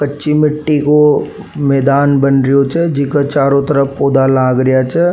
कच्ची मिटटी को मैदान बन रियो छे जेका चारो तरफ पौधा लाग रिया छे।